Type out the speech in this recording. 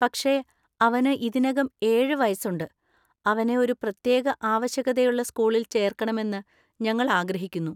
പക്ഷേ, അവന് ഇതിനകം ഏഴ്‌ വയസ്സുണ്ട്, അവനെ ഒരു പ്രത്യേക ആവശ്യകതയുള്ള സ്കൂളിൽ ചേർക്കണമെന്ന് ഞങ്ങൾ ആഗ്രഹിക്കുന്നു.